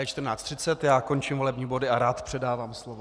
Je 14.30, já končím volební body a rád předávám slovo.